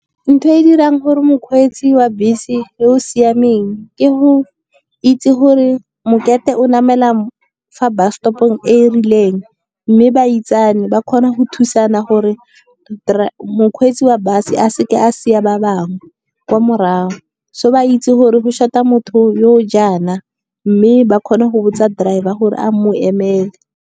Ntho e dirang gore mokgweetsi wa bese yo o siameng, ke go itse gore mokete o namela fa bus stop-ong e e rileng. Mme ba itsane ba kgona go thusana gore mokgweetsi wa bus, a seke a sia ba bangwe kwa morago. So ba itse gore go short-a motho yo jaana, mme ba kgona go botsa driver gore a mo emele.